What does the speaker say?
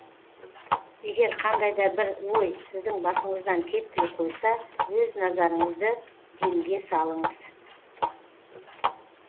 егер қандай да бір ой сіздің басыңыздан кетпей қойса өз назарыңызды демге салыңыз